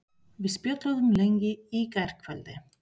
Við spjölluðum lengi í gærkvöldi.